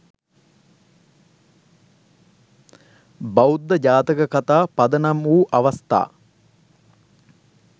බෞද්ධ ජාතක කථා පදනම් වූ අවස්ථා